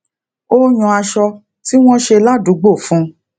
ó yan aṣọ tí wọn ṣe ládùúgbò fún